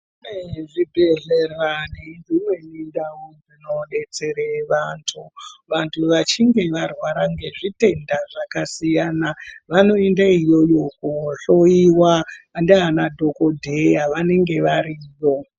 Kune zvibhedhlera nedzimweni ndau dzinodetsere vanthu vanthu vachinge varwara ngezvitenda zvakasiyana vanoende iyoyo kohloiwa Indiana dhokodheya vanenge varipo.